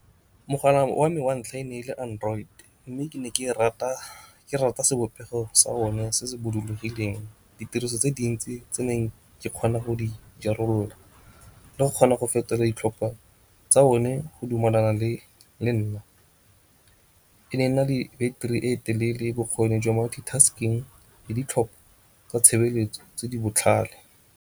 Mogala wa me wa ntlha e ne e le Android mme ke ne ke rata sebopego sa one se se bodulogileng. Ditiriso tse dintsi tse ne ke kgona go di le go kgona go fetola ditlhopha tsa one go dumelana le nna. Ene e na le beteri e telele, bokgoni jwa multi-tasking le ditlhopho tsa tshebeletso tse di botlhale.